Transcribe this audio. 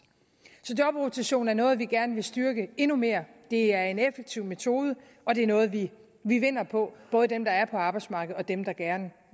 så jobrotation er noget vi gerne vil styrke endnu mere det er en effektiv metode og det er noget de vinder på både dem der er på arbejdsmarkedet og dem der gerne